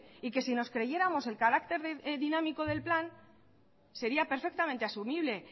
y que si nos creyéramos el carácter dinámico del plan sería perfectamente asumible